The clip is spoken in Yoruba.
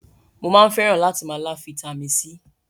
Mo máa ń fẹ́ràn látì máa lá Fitami C.